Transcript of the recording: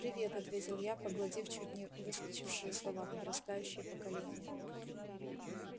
привет ответил я проглотив чуть не выскочившие слова подрастающее поколение